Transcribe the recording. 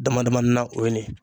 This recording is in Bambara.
Damadamanin na o ye nin ye